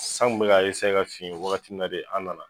San kun bɛɛ k'a ka fin wagati min na de an nana